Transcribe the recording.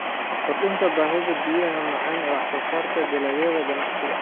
Kordhinta baahida biyaha macaan ee wax soo saarka dalagyada ganacsiga.